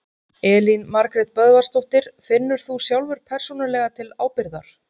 Elín Margrét Böðvarsdóttir: Finnur þú sjálfur persónulega til ábyrgðar?